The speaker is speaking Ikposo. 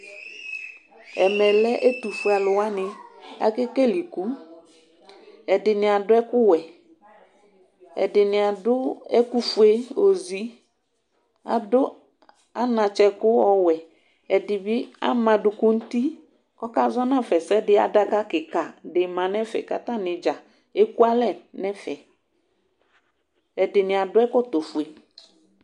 Ɛmɛlɛ ɛtʋfue alʋ wani ake kele ikʋ ɛdini adʋ ɛkʋwɛ ɛdini adʋfue ozi adʋ anatsɛkʋ ɔwɛ ɛdibi ama aduku nʋ uti kʋ ɔkazɔ nafa ɛsɛdi adaka kika dima nʋ efe kʋ atanibdza ɛkʋalɛ nʋ ɛfɛ ɛdini adʋ ɛkɔtɔfue